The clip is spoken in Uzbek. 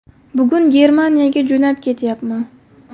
Bugun Germaniyaga jo‘nab ketyapman.